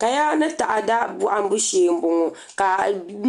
Kaya ni taada bohambu shee n bɔŋɔ ka